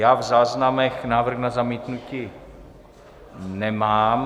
Já v záznamech návrh na zamítnutí nemám.